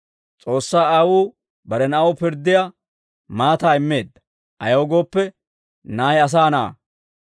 S'oossaa Aawuu bare Na'aw pirddiyaa maataa immeedda; ayaw gooppe, Na'ay Asaa Na'aa.